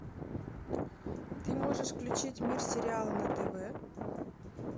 ты можешь включить мир сериала на тв